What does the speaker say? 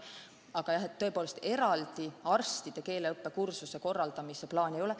Aga jah, tõepoolest eraldi arstidele keeleõppe kursuse korraldamise plaani ei ole.